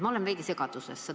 Ma olen veidi segaduses.